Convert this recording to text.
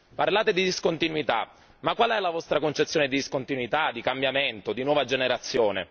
Parlate di discontinuità ma qual è la vostra concezione di discontinuità, di cambiamento, di nuova generazione?